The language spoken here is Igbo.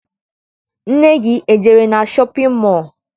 Nne gị ejere na shọpịn mọọ?